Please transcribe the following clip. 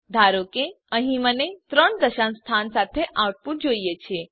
ધારો કે અહીં મને ત્રણ દશાંશ સ્થાન સાથેનું આઉટપુટ જોઈએ છે